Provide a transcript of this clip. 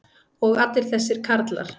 og allir þessir karlar.